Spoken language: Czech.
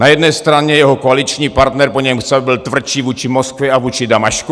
Na jedné straně jeho koaliční partner po něm chce, aby byl tvrdší vůči Moskvě a vůči Damašku.